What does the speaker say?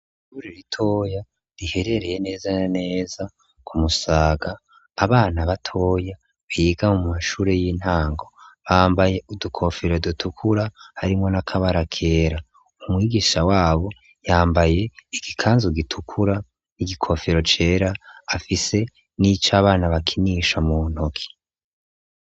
ishure ritoya riherereye neza neza kumusaga abana batoya biga mw'ishure y'intango bambaye udukofero dutukura harimwo n'akabara kera umwigisha wabo yambaye igikanzu gitukura n'igikofero cera afise n'ica abana bakinisha mu ntoki